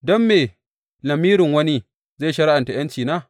Don me lamirin wani zai shari’anta ’yancina?